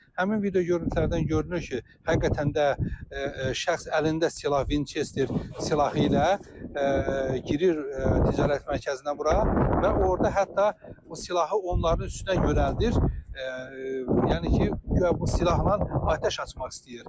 Həmin video görüntülərdən görünür ki, həqiqətən də şəxs əlində silah Vinçester silahı ilə girir ticarət mərkəzinə bura və orda hətta o silahı onların üstünə yönəldir, yəni ki, guya bu silahla atəş açmaq istəyir.